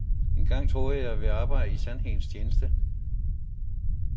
Engang troede jeg, at vi arbejdede i sandhedens tjeneste.